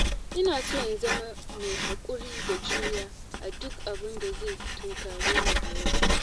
Ina so in zama mai haƙuri da juriya a duk abinda zai tunkare ni a yau.